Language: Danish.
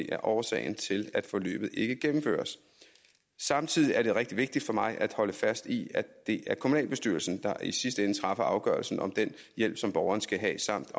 er årsagen til at forløbet ikke gennemføres samtidig er det rigtig vigtigt for mig at holde fast i at det er kommunalbestyrelsen der i sidste ende træffer afgørelsen om den hjælp som borgeren skal have samt